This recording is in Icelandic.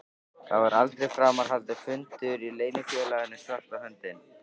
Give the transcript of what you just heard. Það var aldrei framar haldinn fundur í Leynifélaginu svarta höndin.